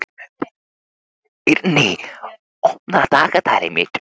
Eirný, opnaðu dagatalið mitt.